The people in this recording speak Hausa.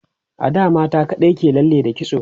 a da mata kaɗai ke lalle da kitso